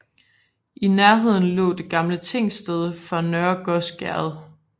I nærheden lå det gamle tingsted for Nørre Gøs Herred